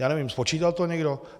Já nevím, spočítal to někdo?